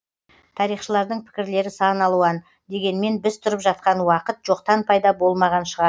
тарихшылардың пікірлері сан алуан дегенмен біз тұрып жатқан уақыт жоқтан пайда болмаған шығар